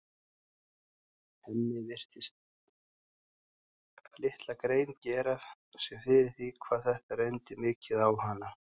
Hemmi virtist litla grein gera sér fyrir því hvað þetta reyndi mikið á hana.